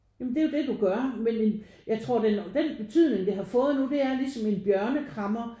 Ja men det er jo det du gør men en jeg tror den betydning det har fået nu det er ligesom en bjørne krammer